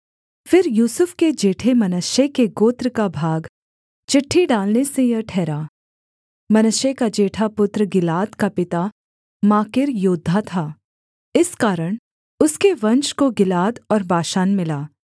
फिर यूसुफ के जेठे मनश्शे के गोत्र का भाग चिट्ठी डालने से यह ठहरा मनश्शे का जेठा पुत्र गिलाद का पिता माकीर योद्धा था इस कारण उसके वंश को गिलाद और बाशान मिला